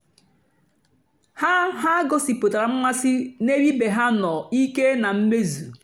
ha ha gòsíputàra mmásị́ n'ébè ìbè ha nọ̀ ìké na mmèzù.